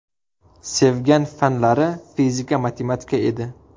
Sevgan fanlari fizika, matematika edi.